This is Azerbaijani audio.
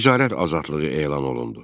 Ticarət azadlığı elan olundu.